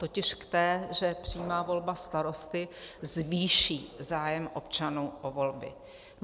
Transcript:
Totiž k té, že přímá volba starosty zvýší zájem občanů o volby.